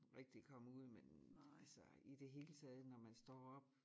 Rigtig komme ud men altså i det hele taget når man står op